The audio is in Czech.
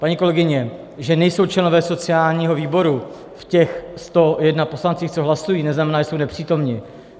Paní kolegyně, že nejsou členové sociálního výboru v těch 101 poslancích, co hlasují, neznamená, že jsou nepřítomni.